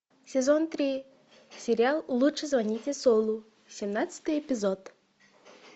сезон три сериал лучше звоните солу семнадцатый эпизод